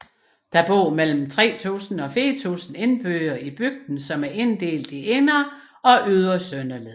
Der bor mellem 3000 og 4000 indbyggere i bygden som er inddelt i Indre og Ytre Søndeled